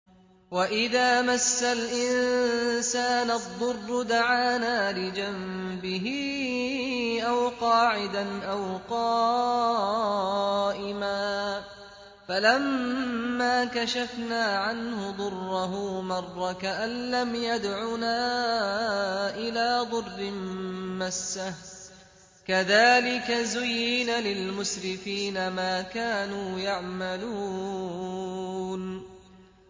وَإِذَا مَسَّ الْإِنسَانَ الضُّرُّ دَعَانَا لِجَنبِهِ أَوْ قَاعِدًا أَوْ قَائِمًا فَلَمَّا كَشَفْنَا عَنْهُ ضُرَّهُ مَرَّ كَأَن لَّمْ يَدْعُنَا إِلَىٰ ضُرٍّ مَّسَّهُ ۚ كَذَٰلِكَ زُيِّنَ لِلْمُسْرِفِينَ مَا كَانُوا يَعْمَلُونَ